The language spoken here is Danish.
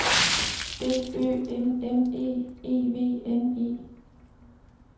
D Ø M M E E V N E